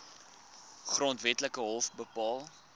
grondwetlike hof bepaal